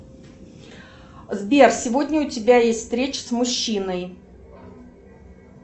сбер сегодня у тебя есть встреча с мужчиной